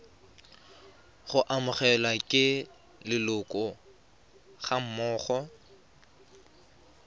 go amogelwa ke leloko gammogo